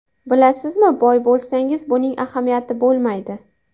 Bilasizmi, boy bo‘lsangiz buning ahamiyati bo‘lmaydi.